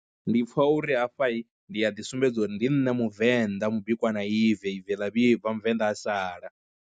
Ndi pfha uri hafhahi ndi a ḓi sumbedza uri ndi nṋe muvenḓa mubikwa na ibve I, bve ḽa vhibva muvenḓa a sala.